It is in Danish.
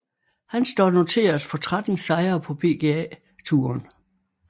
Han står noteret for 13 sejre på PGA Touren